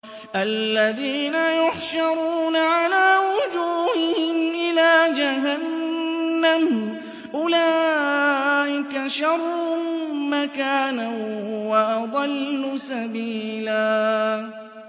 الَّذِينَ يُحْشَرُونَ عَلَىٰ وُجُوهِهِمْ إِلَىٰ جَهَنَّمَ أُولَٰئِكَ شَرٌّ مَّكَانًا وَأَضَلُّ سَبِيلًا